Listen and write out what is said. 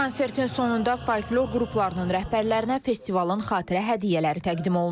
Konsertin sonunda folklor qruplarının rəhbərlərinə festivalın xatirə hədiyyələri təqdim olunub.